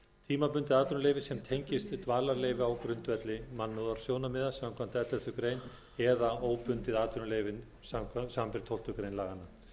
tímabundið atvinnuleyfi sem tengist dvalarleyfi á grundvelli mannúðarsjónarmiða samkvæmt elleftu greinar eða óbundið atvinnuleyfi samanber tólftu greinar laganna